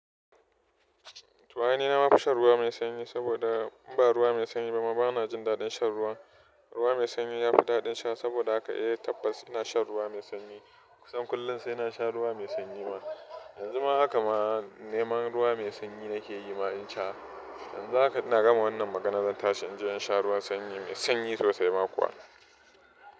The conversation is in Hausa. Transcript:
To, ai ni na ma fi shan ruwa mai sanyi saboda in ba ruwa mai sanyi ba ma ba na jin daɗin shan ruwa. Ruwa mai sanyi ya fi daɗin sha saboda haka e tabbas ina shan ruwa mai sanyi. Kusan kullum sai na sha ruwa mai sanyi ma. Yanzu ma haka ma neman ruwa mai sanyi nake yi ma in sha. Yanzu haka ina gama wannan magana zan tashi in je in sha ruwan sanyi mai sanyi sosai ma kuwa.